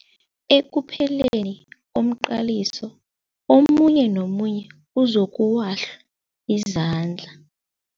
Ekupheleni komqaliso omunye nomunye uzokuwahla izandla.